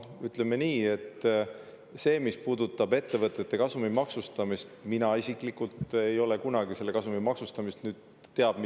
Mis puudutab ettevõtete kasumi maksustamist, siis mina isiklikult ei ole kunagi seda teab mis edukaks ja heaks ideeks pidanud.